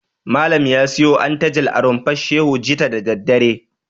Malam ya siyo antalaj a Rumfar Shehu jita da daddare.